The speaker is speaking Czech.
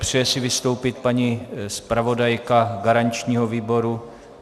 Přeje si vystoupit paní zpravodajka garančního výboru?